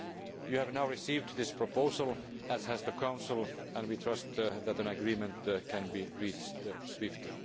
You have now received this proposal, as has the Council, and we trust that an agreement can be reached swiftly.